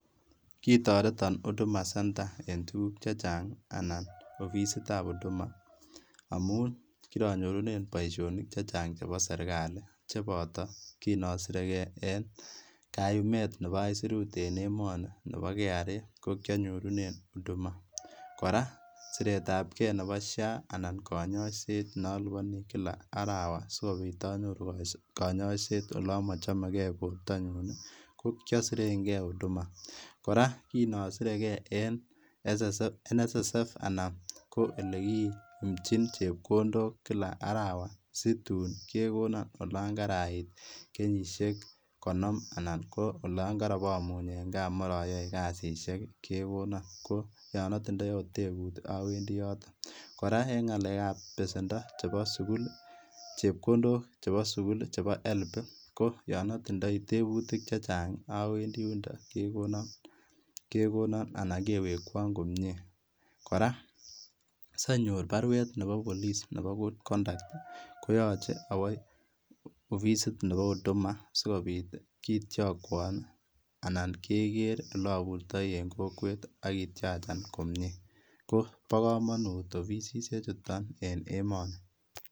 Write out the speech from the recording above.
Kitoreton Huduma centre en tuguk chechang' anan opisitab Huduma amun kironyorunen boisionik chechang' chebo serkali cheboto kin osirekei en kayumet nebo aisirut en emeni nebo KRA kokionyorunen Huduma. Kora siretabkei nebo SHA anan konyoiset neoliponi kila arawa sikobit onyoru konyoiset olon mochomekei bortanyun kokiosirengei Huduma. Kora kin osirekei en SSF NSSF anan olekiumchin chepkondok kila arawa situn kekonon olon karait kenyisiek konom anan koyon koromuny en gaa moroyoe kasisiek kekonon ko yon otindoi ot tebut owendi yoton. Kora en ng'alekab besendo chepkondok chebo sukul chebo sukul chepkondok chebo sukul chebo HELB ii ko yon otindoi tebutik chechang' ii owendi yundon kekonon anan kewekwon komie. Kora sonyor baruet nebo polis nebo good conduct koyoche owo opisit nebo Huduma sikobit kitiokwon anan keker ilopurtoi en kokwet ii ak kitiachan komie. Ko bo komonut opisisiek chuton en emoni.